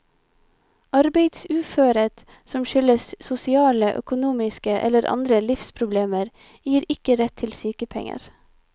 Arbeidsuførhet som skyldes sosiale, økonomiske eller andre livsproblemer, gir ikke rett til sykepenger.